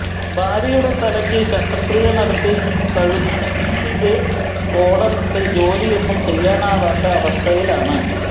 ഭാര്യയുടെ തലയ്ക്ക് ശസ്ത്രക്രിയ നടത്തി കഴുത്തില് കോളറിട്ട് ജോലിയൊന്നും ചെയ്യാനാവാത്ത അവസ്ഥയിലാണ്